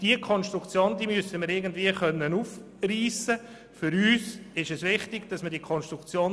Diese Konstruktion müssen wir auf irgendeine Weise klären.